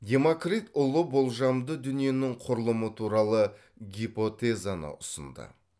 демокрит ұлы болжамды дүниенің құрылымы туралы гипотезаны ұсынды